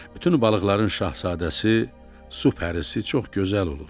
Bütün balıqların şahzadəsi su pərisi çox gözəl olur.